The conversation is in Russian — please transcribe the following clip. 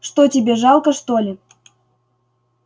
что тебе жалко что ли